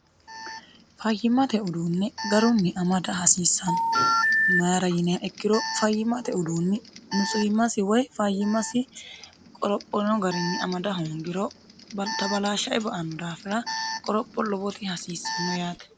fayyimate uduunni garunni amada hasiissanno mayira yiniha ikkiro fayyimate uduunni nutsuyimmasi woy fayyimasi qorophono garinni amada hoongiro baltabalaashshae ba anno daafira qoropho lobote hasiissanno yaate